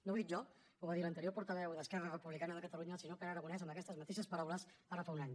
no ho dic jo ho va dir l’anterior portaveu d’esquerra republicana de catalunya el senyor pere aragonès amb aquestes mateixes paraules ara fa un any